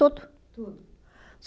Tudo. Tudo.